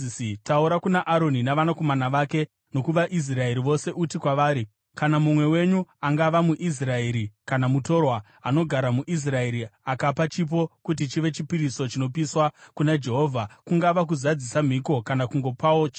“Taura kuna Aroni navanakomana vake nokuvaIsraeri vose uti kwavari, ‘Kana mumwe wenyu, angava muIsraeri kana mutorwa, anogara muIsraeri, akapa chipo kuti chive chipiriso chinopiswa kuna Jehovha, kungava kuzadzisa mhiko kana kungopawo chipo,